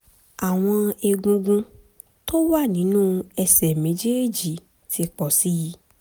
àwọn egungun tó wà nínú ẹsẹ̀ méjèèjì ti pọ̀ sí i